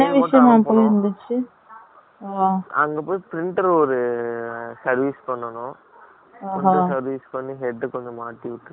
அங்க போய், printer ஒரு service பண்ணணும். ஓ, service பண்ணி, head கொஞ்சம் மாட்டி விட்டுட்டு, ம்ம், ம்ம்